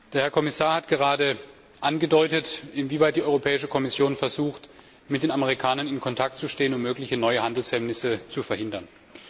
Der Herr Kommissar hat gerade angedeutet, inwieweit die Europäische Kommission versucht, mit den Amerikanern in Kontakt zu stehen, um mögliche neue Handelshemmnisse zu verhindern.